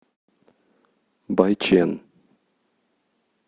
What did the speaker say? байчэн